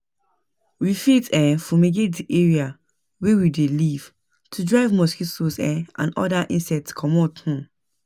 We fit um fumigate di area wey we dey live to drive mosquitoes um and oda insects comot um